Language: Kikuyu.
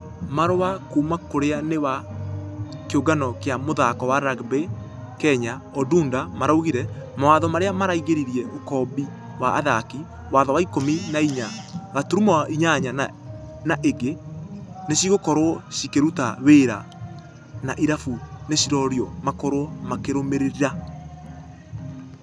Marũa kuumakwaũrĩa nĩ ..... wa kĩũngano gĩa mũthako wa rugby kenya odundo maraugire , mawatho marĩa maraingĩrĩra ũkombi wa athaki . Watho wa ikũmi na inya gaturumo inyanya na ingĩ, nĩcigokorwo cikĩruta wera na irabũ nĩcirorio makorwo makĩrũmĩrira.